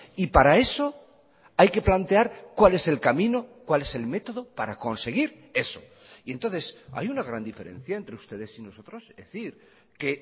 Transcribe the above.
y para eso hay que plantear cuál es el camino cuál es el método para conseguir eso y entonces hay una gran diferencia entre ustedes y nosotros es decir que